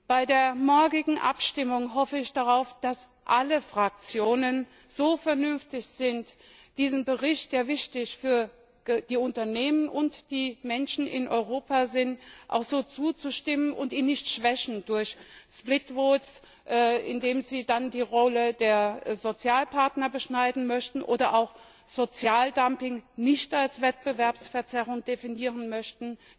Bei der morgigen Abstimmung hoffe ich darauf, dass alle Fraktionen so vernünftig sind, diesem Bericht, der wichtig für die Unternehmen und die Menschen in Europa ist, auch so zuzustimmen, und ihn nicht schwächen durch getrennte Abstimmungen, indem sie dann die Rolle der Sozialpartner beschneiden möchten oder auch Sozialdumping nicht als Wettbewerbsverzerrung definieren möchten.